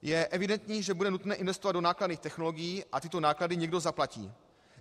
Je evidentní, že bude nutné investovat do nákladných technologií a tyto náklady někdo zaplatí.